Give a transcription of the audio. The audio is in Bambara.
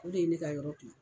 O de ye ne ka yɔrɔ